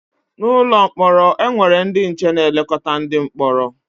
N’ụlọ mkpọrọ, e nwere ndị nche na-elekọta ndị mkpọrọ.